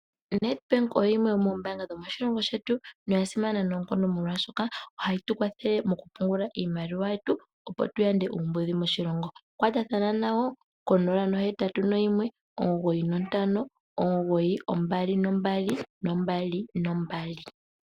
ONedbank oyo yimwe yomoombanga dhetu dhomoshilongo shetu noyasimana noonkondo molwashoka ohayitukwathele mokupungula iimaliwa yetu opo tu yande uumbudhi moshilongo. Kwatathana nayo ko0819592222.